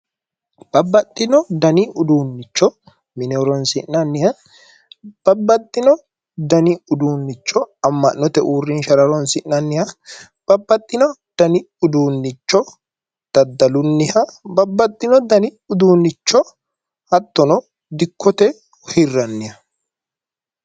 Babbaxxino dani uduunnicho mine horonsi'nanniha babbaxxino dani uduunnicho amma'note uurrinshara horonsi'nanniha Babbaxxino dani uduunnicho daddalunniha Babbaxxino dani uduunnicho hattono dikkote hirranniha